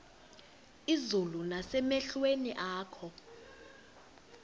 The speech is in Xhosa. izulu nasemehlweni akho